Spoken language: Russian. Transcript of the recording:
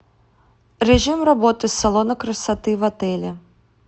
режим работы салона красоты в отеле